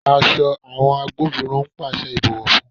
Aṣọ àwọn agbófinró ń pàṣẹ ìbọ̀wọ́ fún.